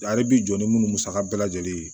Ale bi jɔ ni minnu musaka bɛɛ lajɛlen ye